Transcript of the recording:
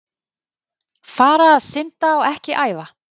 Fara að synda og ekki æfa?